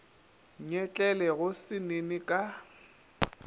nyetlele go se nene ka